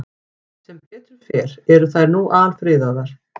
Sem betur fer eru þær nú alfriðaðar.